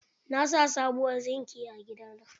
Na sa subuwar zingi a gida na.